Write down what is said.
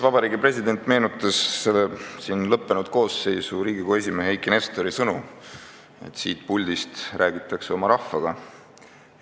Vabariigi President meenutas eelmise koosseisu esimehe Eiki Nestori sõnu, et siit puldist räägitakse oma rahvaga.